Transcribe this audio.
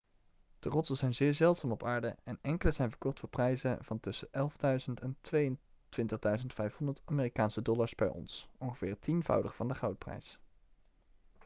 de rotsen zijn zeer zeldzaam op aarde en enkele zijn verkocht voor prijzen van tussen 11.000 en 22.500 amerikaanse dollars per ons ongeveer het tienvoudige van de goudprijs